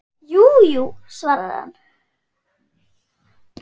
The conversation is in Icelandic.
Jú, jú, svarar hann.